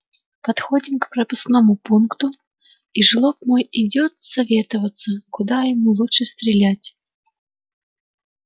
подходим к пропускному пункту и жлоб мой идёт советоваться куда ему лучше стрелять